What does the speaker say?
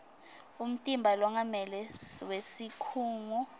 umtimba longamele wesikhungo